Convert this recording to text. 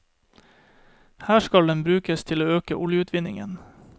Her skal den brukes til å øke oljeutvinningen.